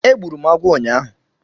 Egburu m agwọ ụnyaahụ